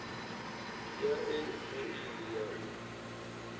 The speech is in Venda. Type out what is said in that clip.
ya e meili ya u